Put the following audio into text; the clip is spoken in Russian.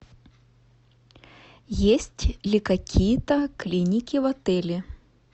есть ли какие то клиники в отеле